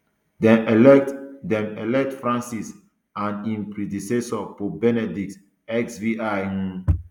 dem elect dem elect francis and im predecessor pope benedict xvi um